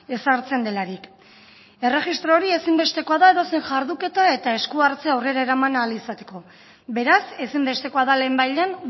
ezartzen delarik erregistro hori ezinbestekoa da edozein jarduketa eta esku hartzea aurrera eraman ahal izateko beraz ezinbestekoa da lehenbailehen